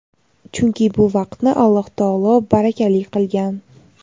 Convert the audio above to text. chunki bu vaqtni Alloh taolo barakali qilgan.